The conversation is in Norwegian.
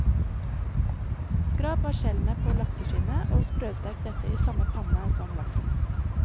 Skrap av skjellene på lakseskinnet og sprøstek dette i samme panne som laksen.